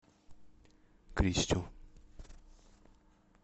кристю